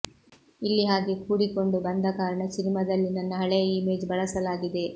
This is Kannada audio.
ಇಲ್ಲಿ ಹಾಗೆ ಕೂಡಿಕೊಂಡು ಬಂದಕಾರಣ ಸಿನಿಮಾದಲ್ಲಿ ನನ್ನ ಹಳೆಯ ಇಮೇಜ್ ಬಳಸಲಾಗಿದೆ